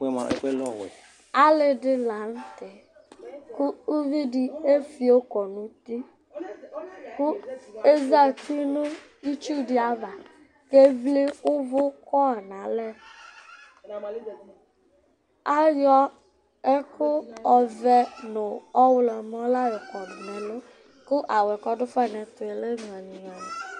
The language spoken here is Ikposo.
Alɩ dɩ la nʋ tɛ kʋ uvi dɩ efio kɔ nʋ uti kʋ ezati nʋ itsu dɩ ava kʋ evli ʋvʋ kɔ nʋ alɛ Ayɔ ɛkʋ ɔvɛ nʋ ɔɣlɔmɔ la yɔkɔdʋ nʋ ɛlʋ kʋ awʋ yɛ kʋ ɔdʋ fa nʋ ɛtʋ yɛ lɛ ŋʋalɩ-ŋʋalɩ